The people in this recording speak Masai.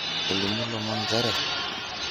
Elimu lomon nchere